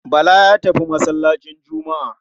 Bala ya tafi masallacin Juma'a.